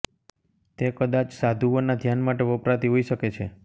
તે કદાચ સાધુઓના ધ્યાન માટે વપરાતી હોઇ શકે છે